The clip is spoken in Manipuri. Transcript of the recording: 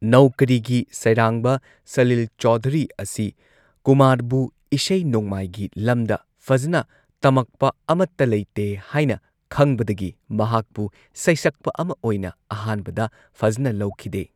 ꯅꯧꯀꯔꯤꯒꯤ ꯁꯩꯔꯥꯡꯕ ꯁꯂꯤꯜ ꯆꯧꯙꯨꯔꯤ ꯑꯁꯤ ꯀꯨꯃꯥꯔꯕꯨ ꯏꯁꯩ ꯅꯣꯡꯃꯥꯏꯒꯤ ꯂꯝꯗ ꯐꯖꯅ ꯇꯝꯃꯛꯄ ꯑꯃꯠꯇ ꯂꯩꯇꯦ ꯍꯥꯏꯅ ꯈꯪꯕꯗꯒꯤ ꯃꯍꯥꯛꯄꯨ ꯁꯩꯁꯛꯄ ꯑꯃ ꯑꯣꯏꯅ ꯑꯍꯥꯟꯕꯗ ꯐꯖꯅ ꯂꯧꯈꯤꯗꯦ꯫